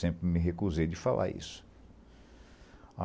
Sempre me recusei de falar isso.